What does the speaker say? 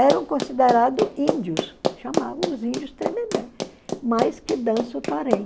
Eram considerados índios, chamavam os índios tremembé, mas que dança o torém.